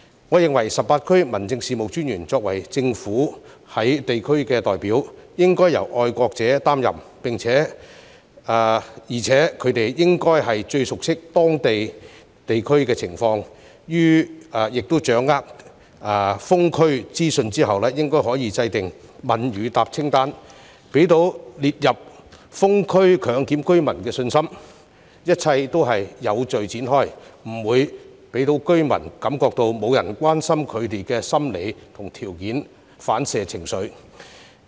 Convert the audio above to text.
我認為18區民政事務專員作為政府在地區的代表，應該要由愛國者擔任，而且他們應該最熟悉當區情況，當掌握封區資訊後可以制訂"問與答清單"，讓被列入封區強檢居民有信心，明白一切都是有序展開，不會讓居民感覺沒有人關心他們的心理和條件反射情緒。